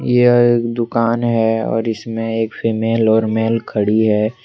यह दुकान है और इसमें एक फीमेल और मेल खड़ी है ।